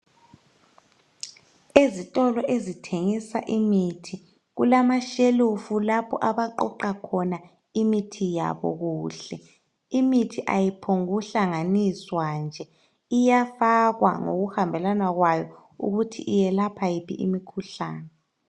Ezitolo ezithengisa imithi kulamashelufu lapho abaqoqa khona imithi yabo kuhle. Imithi ayiphongu hlanganiswa nje, iyafakwa ngokuhambelana kwayo ukuthi iyelapha yiphi imikhuhlane.